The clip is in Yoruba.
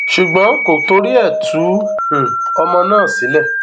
ṣùgbọn kò torí ẹ tú um ọmọ náà sílẹ